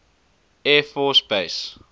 air force base